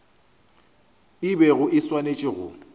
e bego e swanetše go